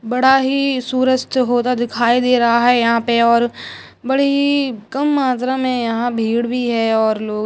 बड़ा ही सूरज से होता दिखाई दे रहा है यहां पर और बड़ी कम मात्रा में यहां भीड़ भी है और लोग--